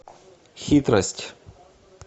хитрость